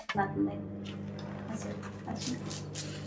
әсел әсел